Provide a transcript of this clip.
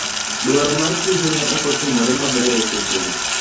Dwaro mar Tuju ne okotimore maber e seche go.